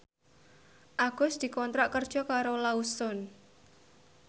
Agus dikontrak kerja karo Lawson